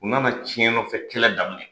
U nana cɛnnɔfɛkɛlɛ daminɛ